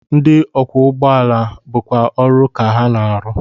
Ndị ọkwọụgbọala bụkwa ọrụ ka ha na-arụ